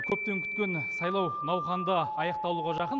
көптен күткен сайлау науқаны да аяқтауға жақын